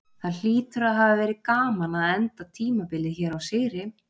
Það hlýtur að hafa verið gaman að enda tímabilið hér á sigri?